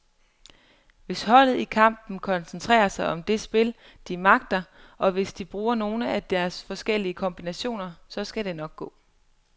Hvis holdet i kampen koncentrerer sig om det spil, de magter, og hvis de bruger nogle af deres forskellige kombinationer, så skal det nok gå.